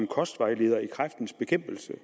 kostvejleder i kræftens bekæmpelse